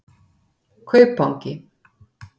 Kaupangi